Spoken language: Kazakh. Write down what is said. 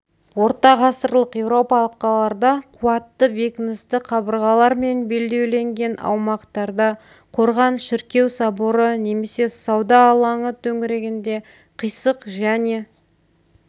ортағасырлық еуропалық қалаларда қуатты бекіністі қабырғалармен белдеуленген аумақтарда қорған шіркеу соборы немесе сауда алаңы төңірегінде қисық және